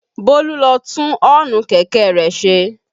Bólú lọ tún ọ́ǹnù kẹ̀kẹ́ rẹ̀ ṣe